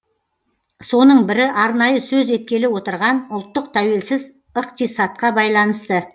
соның бірі арнайы сөз еткелі отырған ұлттық тәуелсіз ықтисатқа байланысты